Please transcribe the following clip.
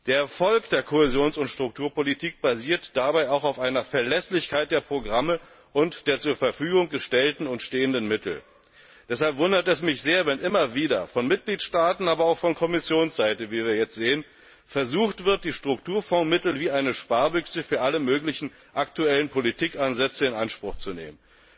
Der Erfolg der Kohäsions und Strukturpolitik basiert dabei auch auf einer Verlässlichkeit der Programme und der zur Verfügung gestellten und stehenden Mittel. Deshalb wundert es mich sehr, wenn immer wieder von einigen Mitgliedstaaten, aber auch von Kommissionsseite wie wir jetzt sehen versucht wird, die Strukturfondsmittel wie eine Sparbüchse für alle möglichen aktuellen Politikansätze in Anspruch zu nehmen.